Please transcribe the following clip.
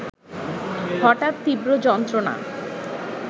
হঠাৎ তীব্র যন্ত্রণা